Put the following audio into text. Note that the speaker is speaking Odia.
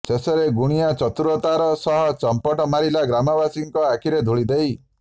ଶେଷରେ ଗୁଣିଆ ଚତୁରତାର ସହ ଚମ୍ପଟ ମାରିଲା ଗ୍ରାମବାସୀଙ୍କ ଆଖିରେ ଧୁଳିଦେଇ